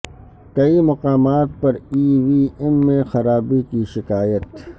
کئی مقامات پر ای وی ایم میں خرابی کی شکایت